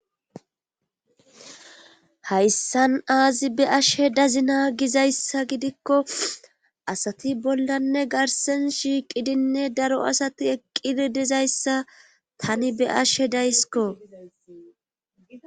Hayssan aazi be ashe dazina gizayssa gidikko asati bollanne garsen shiiqidinne daro asati eqqidi dizayssa tani be ashe daysiko.